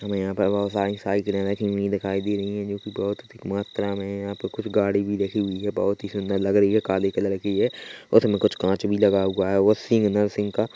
हमें यहाँ पर बहुत सारी साइकिलें रखी हुई दिखाई दे रही है जोकि बहुत अधिक मात्रा में है यहाँ पे कुछ गाड़ी भी रखी हुई है बहुत ही सुन्दर लग रही है काले कलर की है उसमें कुछ काँच भी लगा हुआ है वो सिग्नल सिंग का --